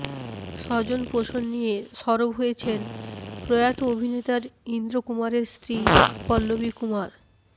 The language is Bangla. স্বজনপোষণ নিয়ে সরব হয়েছেন প্রয়াত অভিনেতার ইন্দ্র কুমারের স্ত্রী পল্লবী কুমার